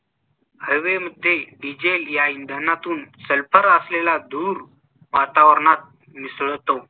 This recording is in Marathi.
हवेमध्ये डीझेल या इंधनातून सल्फर असलेला धूर वातावरणात मिसळतो.